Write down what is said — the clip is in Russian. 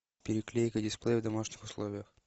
переклейка дисплея в домашних условиях